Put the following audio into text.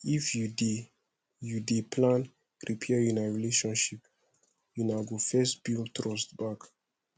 if you dey you dey plan repair una relationship una go first build trust back